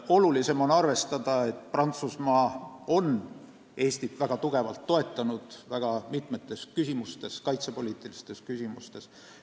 Olulisem on arvestada, et Prantsusmaa on Eestit väga tugevalt toetanud väga mitmes kaitsepoliitilises küsimuses.